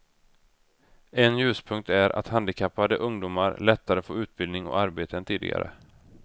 En ljuspunkt är att handikappade ungdomar lättare får utbildning och arbete än tidigare.